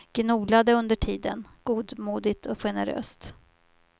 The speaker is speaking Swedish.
Gnolade under tiden, godmodigt och generöst.